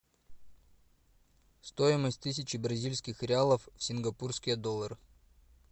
стоимость тысячи бразильских реалов в сингапурские доллары